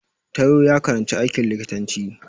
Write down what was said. Taiwo ya karanci aikin likitanci